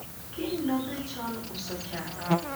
kiny nodhi chon uso chak